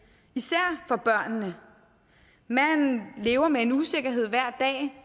især for børnene man lever med en usikkerhed hver dag